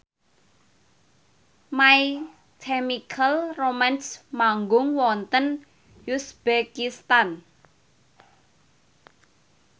My Chemical Romance manggung wonten uzbekistan